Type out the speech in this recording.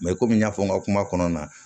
Mɛ komi n y'a fɔ n ka kuma kɔnɔna na